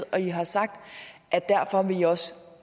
og i har sagt